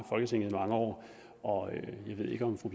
år og jeg ved ikke om fru